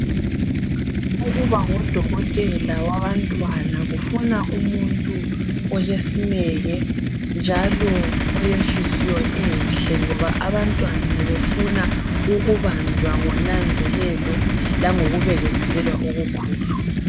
Ukuba ngudokotela wabantwana kufuna umuntu olesineke njalo olenhliziyo enhle ngoba abantwana befuna ukubanjwa ngonanzelelo langokubekezelelwa okukhulu.